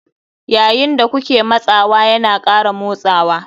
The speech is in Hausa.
Yayin da kuke matsawa yana ƙara motsawa.